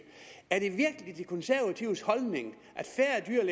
er det virkelig de konservatives holdning